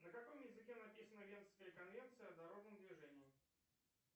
на каком языке написана венская конвенция о дорожном движении